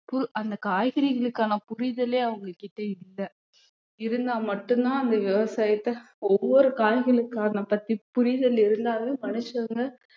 பு~ அந்த காய்கறிகளுக்கான புரிதலே அவங்க கிட்ட இல்லை இருந்தா மட்டும்தான் அந்த விவசாயத்தை ஒவ்வொரு காய்கறிகளுக்காக பத்தி புரிதல் இருந்தாலும் மனுஷங்க